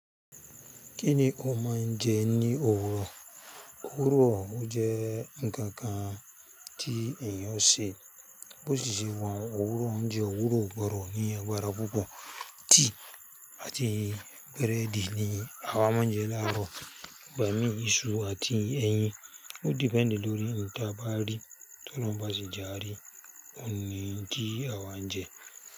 Kí ni o máa ń jẹ ní òwúrọ̀? Òwúrọ̀ o jẹ́ ǹkà kan tí ẹ̀yàn o ṣe bó ti ṣe wa hun Òwúrọ̀ ounjẹ́ òwúrọ̀ o gbodo ní agbára púpọ̀ tea àti búrẹ́dì ni awa máa ń jẹ láàárọ̀, igbàmíì, iṣu àti ẹyin. Ó depend lórí n ta bá rí, tolajun bá si je ari, òun ni n ti a wá n jẹ.